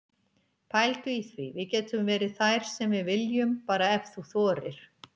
Pældu í því, við getum verið þær sem við viljum, bara ef þú þorir.